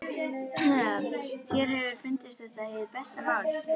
Þér hefur fundist þetta hið besta mál?